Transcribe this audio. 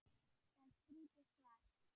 Það er skrítið svar.